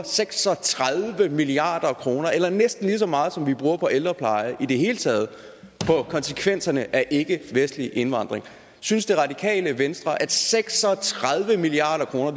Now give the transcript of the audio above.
seks og tredive milliard kroner eller næsten lige så meget som vi bruger på ældrepleje i det hele taget på konsekvenserne af ikkevestlig indvandring synes det radikale venstre at seks og tredive milliard kroner